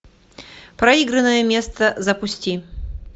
проигранное место запусти